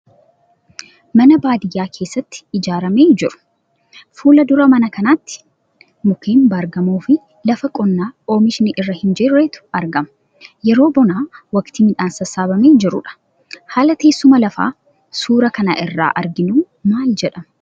Mana baadiyaa keessatti ijaaramee jiru. Fuula dura mana kanaatiin mukeen baar-gamoo fi lafa qonnaa oomishni irra hin jirretu argama. Yeroo bonaa waqtii midhaan sassaabamee jirudha. Haalli teessuma lafaa suuraa kana irraa arginu maal jedhama?